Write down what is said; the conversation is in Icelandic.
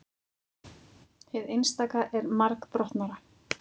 hið einstaka er margbrotnara